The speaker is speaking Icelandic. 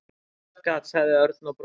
Matargat sagði Örn og brosti.